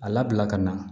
A labila ka na